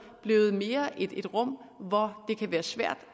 mere er blevet et rum hvor det kan være svært